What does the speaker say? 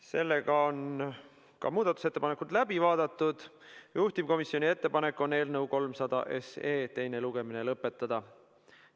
Sellega on ka muudatusettepanekud läbi vaadatud ja juhtivkomisjoni ettepanek on eelnõu 300 teine lugemine lõpetada.